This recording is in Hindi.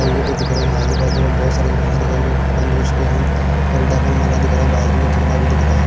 ये भी दिख रहे हैं यहां से बाद बहुत सारे दुकान दिख रहे हैं जो बंद हो चुके हैं और डबल माला दिख रहा है बाज में कंबा भी दिख रहा है।